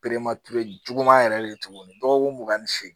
juguman yɛrɛ de ye tuguni dɔgɔkun mugan ni seegin ye